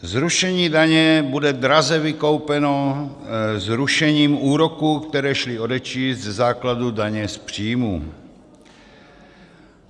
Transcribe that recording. Zrušení daně bude draze vykoupeno zrušením úroků, které šly odečíst ze základu daně z příjmů.